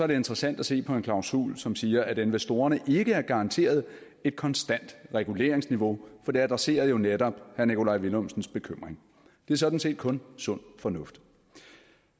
det interessant at se på en klausul som siger at investorerne ikke er garanteret et konstant reguleringsniveau for det adresserer jo netop herre nikolaj villumsens bekymring det er sådan set kun sund fornuft